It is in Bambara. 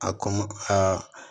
A kɔn aa